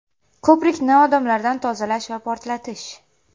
Ko‘prikni odamlardan tozalash va portlatish!